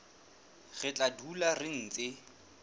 re tla dula re ntse